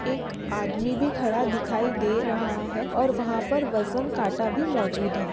एक आदमी भी खड़ा दिखाई दे रहा है और वहा पर वज़न काटा भी मौजूद है।